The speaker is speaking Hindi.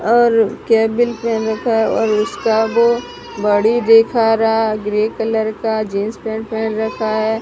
और कैप भी पेहन रखा है और उसका वो बाॅडी दिखा रहा है ग्रे कलर का जींस पैंट पेहन रखा--